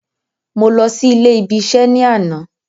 Mo lọ sí ilé ibi isẹ́ ní àná